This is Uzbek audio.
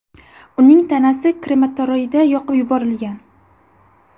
Uning tanasi krematoriyda yoqib yuborilgan.